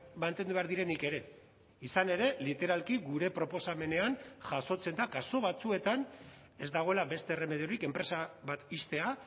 mantendu behar direnik ere izan ere literalki gure proposamenean jasotzen da kasu batzuetan ez dagoela beste erremediorik enpresa bat ixtea